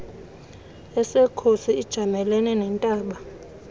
esekhosi ijamelene nentaba